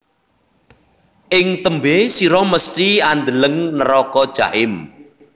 Ing tembe sira mesthi andeleng neraka jahim